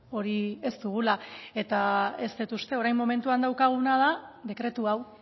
hori ez dugula eta ez dut uste orain momentuan daukaguna da dekretu hau